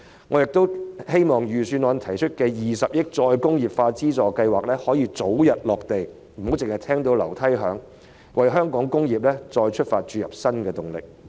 我亦希望預算案提出的20億元再工業化資助計劃可以早日落實，不要"只聞樓梯響"，從而為香港"工業再出發"注入新動力。